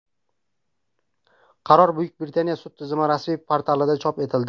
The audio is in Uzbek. Qaror Buyuk Britaniya sud tizimi rasmiy portalida chop etildi.